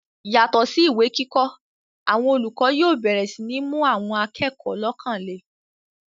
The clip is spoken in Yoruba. yàtọ̀ sí ìwé kíkọ́, àwọn olùkọ́ yóò bẹ̀rẹ̀ sí ní mú àwọn akẹ́kọ̀ọ́ lọ́kàn le